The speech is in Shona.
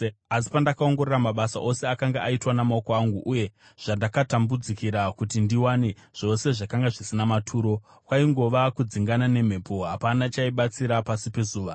Asi pandakaongorora mabasa ose akanga aitwa namaoko angu uye zvandakatambudzikira kuti ndiwane, zvose zvakanga zvisina maturo, kwaingova kudzingana nemhepo; hapana chaibatsira pasi pezuva.